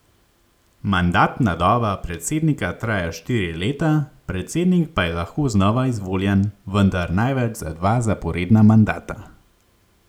Mandatna doba predsednika traja štiri leta, predsednik pa je lahko znova izvoljen, vendar največ za dva zaporedna mandata.